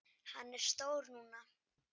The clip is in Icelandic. Hann er stór núna.